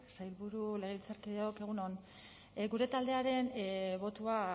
sailburu legebiltzarkideok egun on gure taldearen botoa